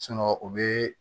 o bɛ